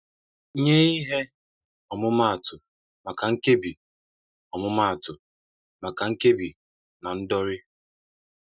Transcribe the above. Nye ihe ọmụmaatụ maka Nkebi ọmụmaatụ maka Nkebi na Ndọri.